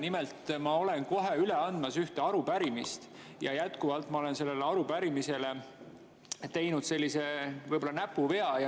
Nimelt, ma olen kohe üle andmas ühte arupärimist ja ma olen selles arupärimises võib-olla teinud näpuvea.